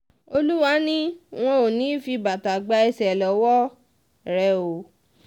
olúwa ni wọn ò ní í um fi bàtà gba ẹ̀ṣẹ̀ lọ́wọ́ um rẹ̀ o